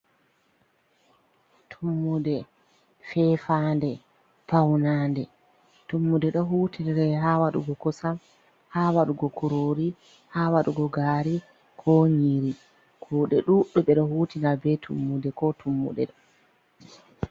Tummude, feefande, paunande. Tummude ɗo hutinire ha waɗugo kosam, ha waɗugo kurori, ha waɗugo gari, ko nyiri. Kuuɗe ɗuɗɗum ɓe do hutinira be tummude ko tummuɗe do.